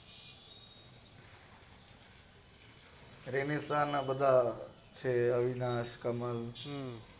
બધા છે અવિનાશ કમલ